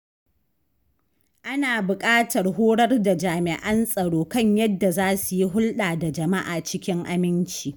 Ana buƙatar horar da jami’an tsaro kan yadda za su yi hulɗa da jama’a cikin aminci.